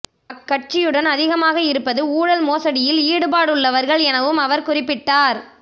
அக்கட்சியுடன் அதிகமாக இருப்பது ஊழல் மோசடியில் ஈடுபாடுள்ளவர்கள் எனவும் அவர் குறிப்பிட்டார்